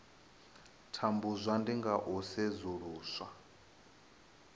tambudzwa ndi nga u sedzulusa